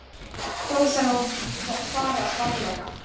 Þó þarf að fara varlega.